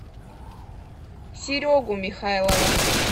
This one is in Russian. серегу михайлова